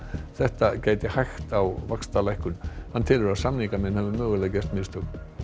þetta gæti hægt á vaxtalækkun hann telur að samningamenn hafi mögulega gert mistök